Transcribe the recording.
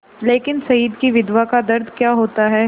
लेकिन शहीद की विधवा का दर्द क्या होता है